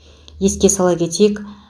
еске сала кетейік